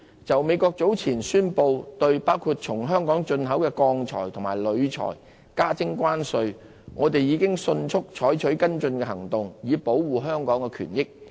就美國早前宣布對包括從香港進口的鋼鐵及鋁材徵收關稅，我們已迅速採取跟進行動，以保護香港的權益。